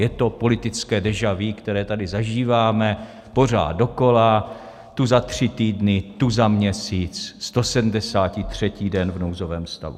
Je to politické déjà vu, které tady zažíváme pořád dokola, tu za tři týdny, tu za měsíc, 173. den v nouzovém stavu.